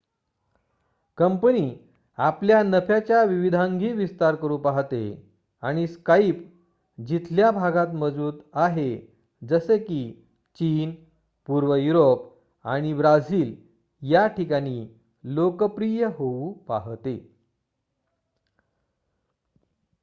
company आपल्या नफ्याच्या विविधांगी विस्तार करू पाहते आणि स्काईप जिथल्या भागात मजबूत आहे जसे की चीन पूर्व युरोप आणि ब्राझील या ठिकाणी लोकप्रिय होऊ पाहते